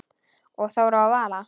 Og Þóra og Vala?